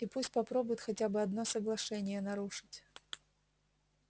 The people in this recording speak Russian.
и пусть попробует хотя бы одно соглашение нарушить